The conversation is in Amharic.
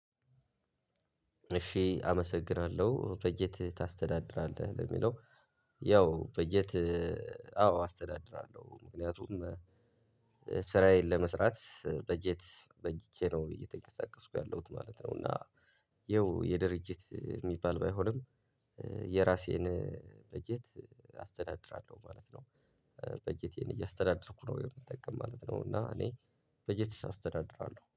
እሺ አመሰግናለሁ በጀት ታስተዳድራለህ ለሚለው? ያው በጀት አዎ አስተዳድራለሁ ምክንያቱም ስራዬን ለመስራት በጀት በጅቸ ነው እየተንቀሳቀስኩ ያለሁት ማለት ነው። እና ያው የድርጅት እሚባል ባይሆንም። የራሴን በጀት አስተዳድራለሁ ማለት ነው። በጀቴን እያስተዳደርኩ ነው የምጠቀም ማለት ነው። እና እኔ በጀት አስተዳድራለሁ